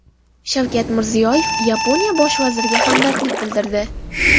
Shavkat Mirziyoyev Yaponiya bosh vaziriga hamdardlik bildirdi.